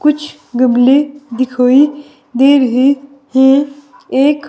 कुछ गमले दिखाई दे रहे हैं एक--